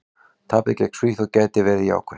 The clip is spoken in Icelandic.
Tapið gegn Svíþjóð gæti verið jákvætt.